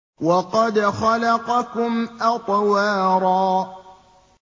وَقَدْ خَلَقَكُمْ أَطْوَارًا